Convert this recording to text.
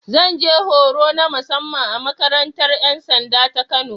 Zan je horo na musamman a makarantar ‘yan sanda ta Kano.